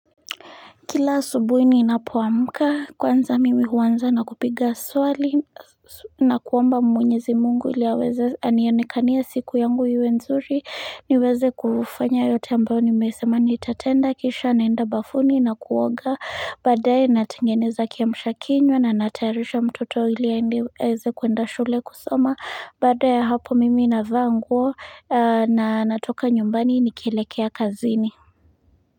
Kila asubuhi ninapoamka kwanza mimi huanza na kupiga swali na kuomba mwenyezi mungu ili aweze anionekania siku yangu iwe nzuri niweze kufanya yote ambayo nimesema nitatenda kisha naenda bafuni na kuoga baadaye natengeneza kiamshakinywa na natayarisha mtoto ili aweze kuenda shule kusoma baada ya hapo mimi navaa nguo na natoka nyumbani nikelekea kazini.